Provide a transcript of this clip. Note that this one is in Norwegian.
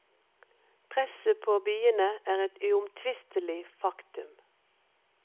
Presset på byene er et uomtvistelig faktum.